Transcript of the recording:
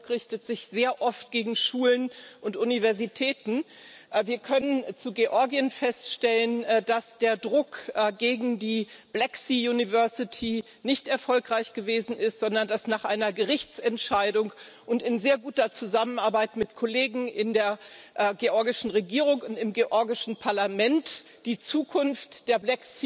Dieser Druck richtet sich sehr oft gegen Schulen und Universitäten. Wir können zu Georgien feststellen, dass der Druck gegen die nicht erfolgreich gewesen ist, sondern dass nach einer Gerichtsentscheidung und in sehr guter Zusammenarbeit mit Kollegen in der georgischen Regierung und im georgischen Parlament die Zukunft der